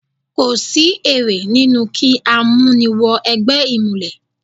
Kò sí èrè nínú kí á mú ni wọ ẹgbẹ́ ìmùlẹ̀.